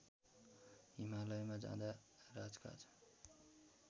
हिमालयमा जाँदा राजकाज